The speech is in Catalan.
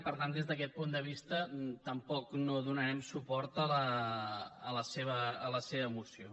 i per tant des d’aquest punt de vista tampoc no donarem suport a la seva moció